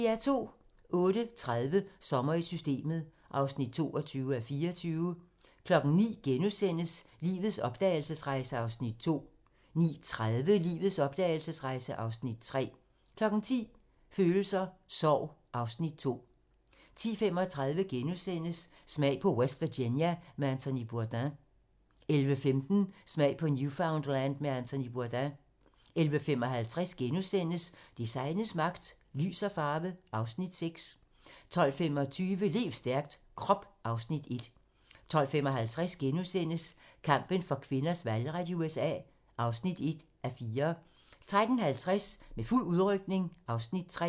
08:30: Sommer i Systemet (22:24) 09:00: Lives opdragelsesrejse (Afs. 2)* 09:30: Lives opdragelsesrejse (Afs. 3) 10:00: Følelser: Sorg (Afs. 2) 10:35: Smag på West Virginia med Anthony Bourdain * 11:15: Smag på Newfoundland med Anthony Bourdain 11:55: Designets magt - Lys og farve (Afs. 6)* 12:25: Lev stærkt - Krop (Afs. 1) 12:55: Kampen for kvinders valgret i USA (1:4)* 13:50: Med fuld udrykning (Afs. 3)